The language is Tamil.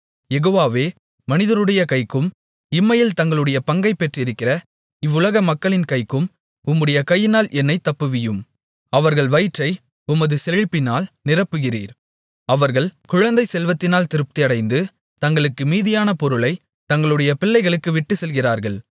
யெகோவாவே மனிதருடைய கைக்கும் இம்மையில் தங்களுடைய பங்கைப் பெற்றிருக்கிற இவ்வுலக மக்களின் கைக்கும் உம்முடைய கையினால் என்னைத் தப்புவியும் அவர்கள் வயிற்றை உமது செழிப்பினால் நிரப்புகிறீர் அவர்கள் குழந்தைச்செல்வத்தினால் திருப்தியடைந்து தங்களுக்கு மீதியான பொருளைத் தங்களுடைய பிள்ளைகளுக்கு விட்டுச்செல்கிறார்கள்